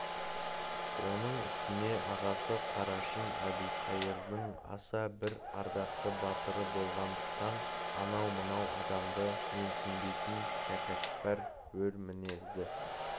оның үстіне ағасы қарашың әбілқайырдың аса бір ардақты батыры болғандықтан анау-мынау адамды менсінбейтін тәкаппар өр мінезді